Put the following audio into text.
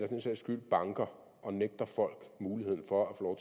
den sags skyld banker og nægter folk muligheden for at få